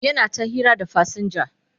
yana ta hira da fasinja